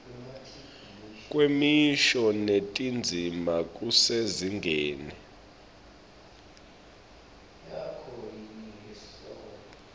kwemisho netindzima kusezingeni